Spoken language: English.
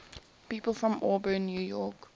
people from auburn new york